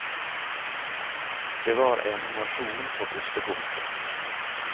Det var en nasjon på bristepunktet.